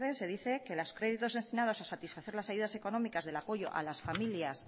se dice los créditos destinados a satisfacer las ayudas económicas del apoyo a las familias